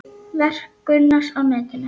Verk Gunnars á netinu